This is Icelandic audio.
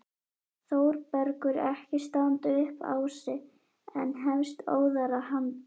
Þórbergur ekki standa upp á sig en hefst óðara handa.